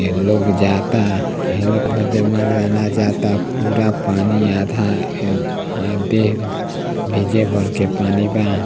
एह लोग जाता एह लोग मर्दाना जाता पूरा पानी आधा है भर के पानी बा।